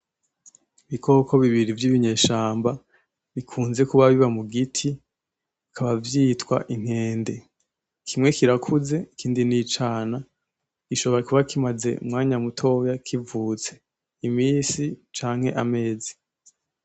Ibikoko bibiri vy'ibinyeshamba bikunze kuba biba mu giti bikaba vyitwa inkende. Kimwe kirakuze ikindi ni icana, gishobora kuba kimaze umwanya mutoya kivutse, imisi canke amezi.